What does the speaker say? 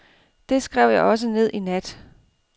Det skrev jeg også ned i nat.